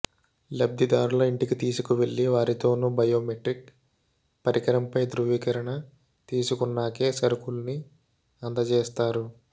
లబ్ధిదారుల ఇంటికి తీసుకువెళ్లి వారితోనూ బయోమెట్రిక్ పరికరంపై ధ్రువీకరణ తీసుకున్నాకే సరకుల్ని అందజేస్తారు